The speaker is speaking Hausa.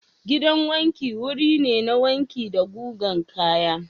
Gidan wanki wuri ne na wanki da gugan kaya.